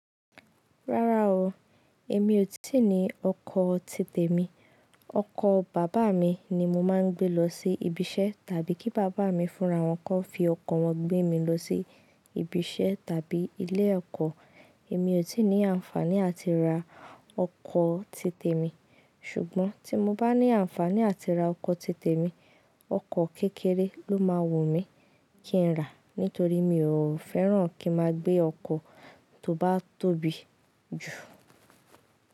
Rárá o, èmi ò tí ní ọkọ̀ títè mi. Ọkọ bàbá mi ni mo máa ń gbé lọ sí ibi iṣẹ́ tàbí kí bàbá mi fúnra wọn kọ́ fi ọkọ̀ wọn gbé mi lọ sí ibi iṣẹ́ tàbí ilé ẹ̀kọ́. Èmi ò tí ní àǹfàní àti ra ọkọ̀ títè mi. Ṣùgbọ́n tí mo bá ní àǹfàní àti ra ọkọ̀ títè mi, ọkọ̀ kékeré ló máa wùmí kí n rà nítorí mi ò fẹ́ràn kí máa gbé ọkọ̀ tó bá tóbi jù.